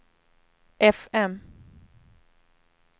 fm